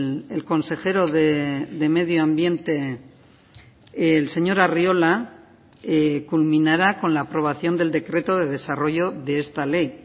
el consejero de medio ambiente el señor arriola culminará con la aprobación del decreto de desarrollo de esta ley